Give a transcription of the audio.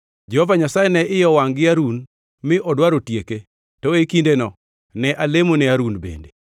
Jehova Nyasaye ne iye owangʼ gi Harun mi odwaro tieke, to e kindeno ne alemone Harun bende.